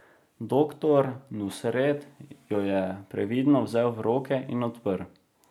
Doktor Nusret jo je previdno vzel v roke in odprl.